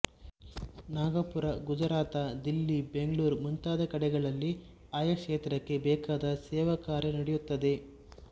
ನಾಗಪುರ ಗುಜರಾತ ದಿಲ್ಲಿ ಬೆಂಗಳೂರು ಮುಂತಾದ ಕಡೆಗಳಲ್ಲಿ ಆಯಾ ಕ್ಷೇತ್ರಕ್ಕೆ ಬೇಕಾದ ಸೇವಾ ಕಾರ್ಯ ನಡೆಯುತ್ತದೆ